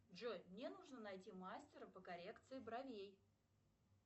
джой мне нужно найти мастера по коррекции бровей